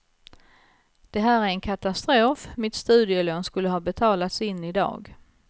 Det här är en katastrof, mitt studielån skulle ha betalats in i dag.